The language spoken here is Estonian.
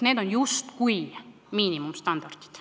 Need on justkui miinimumstandardid.